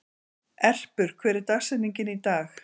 Erpur, hver er dagsetningin í dag?